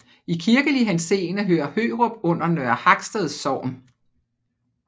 I kirkelig henseende hører Hørup under Nørre Haksted Sogn